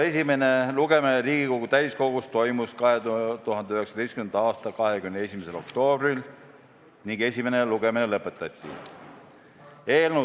Esimene lugemine Riigikogu täiskogus toimus 2019. aasta 21. oktoobril ning esimene lugemine lõpetati.